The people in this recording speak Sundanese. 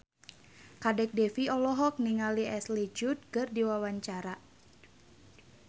Kadek Devi olohok ningali Ashley Judd keur diwawancara